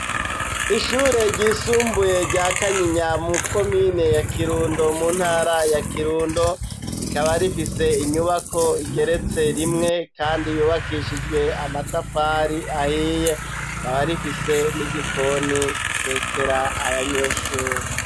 Ishure ryisumbuye rya Kanyinya, muri komine ya Kirundo, mu ntara ya Kirundo, rikaba rifise inyubako igeretse rimwe kandi yubakishijwe amatafari ahiye, rikaba rifise n'igikoni gitekera abanyeshure.